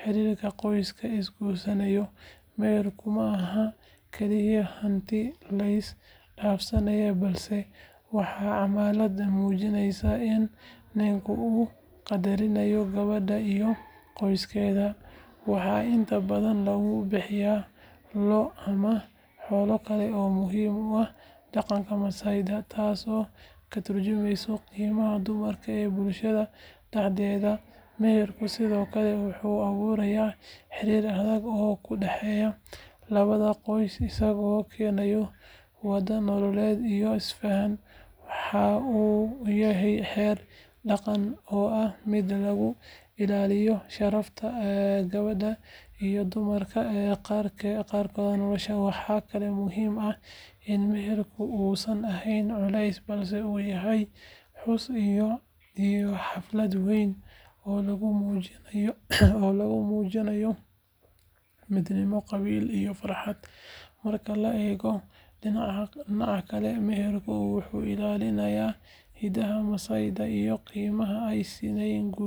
xiriirka qoysaska isguursanaya. Meherku ma aha kaliya hanti la is dhaafsado balse waa calaamad muujinaysa in ninka uu qadarinayo gabadha iyo qoyskeeda. Waxaa inta badan lagu bixiyaa lo’ ama xoolo kale oo muhiim u ah dhaqanka Maasaida, taasoo ka tarjumaysa qiimaha dumarka ee bulshada dhexdeeda. Meherku sidoo kale wuxuu abuurayaa xiriir adag oo u dhexeeya labada qoys isagoo keena wada noolaansho iyo isfaham. Waxa uu yahay xeer dhaqan oo ah mid lagu ilaalinayo sharafta gabadha iyo dammaanad qaadkeeda nololeed. Waxaa kaloo muhiim ah in meherku uusan ahayn culeys balse uu yahay xus iyo xaflad weyn oo lagu muujiyo midnimo qabiil iyo farxad. Marka laga eego dhinaca dhaqanka, meherku wuxuu ilaalinayaa hiddaha Maasaida iyo qiimaha ay siinayaan guurka.